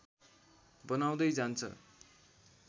बनाउँदै जान्छ